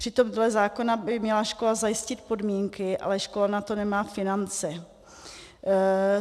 Přitom dle zákona by měla škola zajistit podmínky, ale škola na to nemá finance.